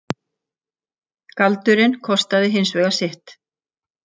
Galdurinn kostaði hins vegar sitt.